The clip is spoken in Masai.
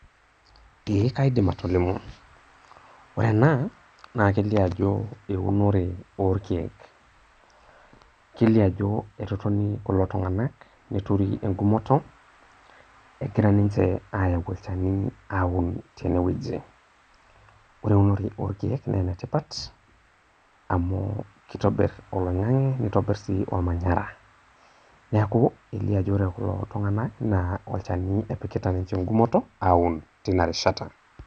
ee kaidim atolimu, ore ena naa lkelioo ajo eunore oorkeek. kelio ajo etotoni kulo tunganak netoru egumoto. egira ninche aayau olchani neun teine wueji. ore eunore oorkeek naa enetipat amu kitobir oloingange, neitobir sii olmanyara. neku elio ajo ore kulo tunganak naa olchani epikita ninche egumoto aun tena rishata.